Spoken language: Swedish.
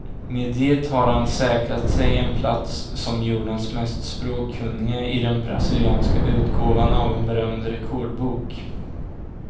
Med det har han säkrat sig en plats som jordens mest språkkunnige i den brasilianska utgåvan av en berömd rekordbok.